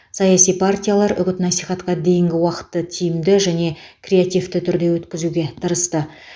саяси партиялар үгіт насихатқа дейінгі уақытты тиімді және креативті түрде өткізуге тырысты